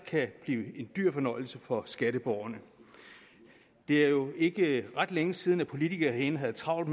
kan blive en dyr fornøjelse for skatteborgerne det er jo ikke ret længe siden politikere herinde havde travlt